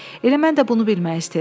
Elə mən də bunu bilmək istəyirəm.